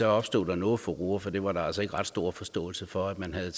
er opstået noget furore for der var var altså ikke ret stor forståelse for at man har